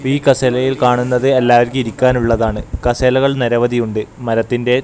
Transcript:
ഈ കസേരയിൽ കാണുന്നത് എല്ലാവർക്കും ഇരിക്കാൻ ഉള്ളതാണ് കസേരകൾ നിരവധിയുണ്ട് മരത്തിന്റെയും--